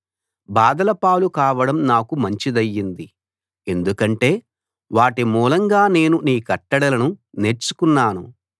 బాధల పాలు కావడం నాకు మంచిదయింది ఎందుకంటే వాటి మూలంగా నేను నీ కట్టడలను నేర్చుకున్నాను